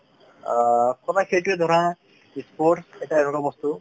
অ শুনা সেইটোৱেই ধৰা sports এটা এনেকুৱা বস্তু